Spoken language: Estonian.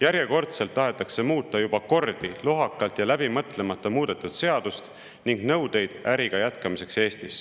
Järjekordselt tahetakse muuta juba kordi lohakalt ja läbi mõtlemata muudetud seadust ning nõudeid Eestis äri jätkamiseks.